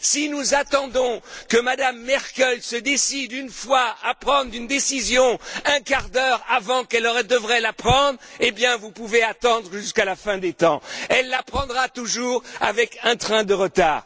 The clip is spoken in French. Si nous attendons que Mme Merkel se décide une fois à prendre une décision un quart d'heure avant qu'elle ne doive la prendre, eh bien, vous pouvez attendre jusqu'à la fin des temps! Elle la prendra toujours avec un train de retard.